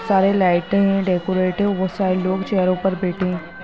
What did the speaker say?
सारे लाइटें डेकोरेटिव बोहत सारे लोग चेयरों पर बैठे हैं।